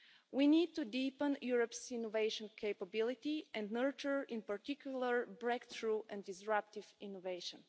We need to deepen Europe's innovation capability and nurture, in particular, breakthrough and disruptive innovation.